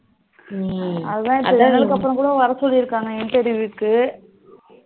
அதான் இப்போ வர சொல்லிறுக்காங்க interview க்கு